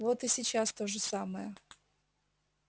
вот и сейчас то же самое